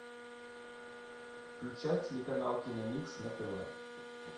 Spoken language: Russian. включай телеканал киномикс на тв